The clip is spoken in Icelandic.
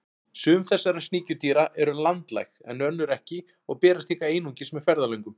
Sum þessara sníkjudýra eru landlæg en önnur ekki og berast hingað einungis með ferðalöngum.